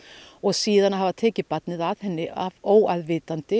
og síðan að hafa tekið barnið að henni